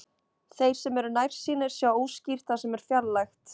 Þeir sem eru nærsýnir sjá óskýrt það sem er fjarlægt.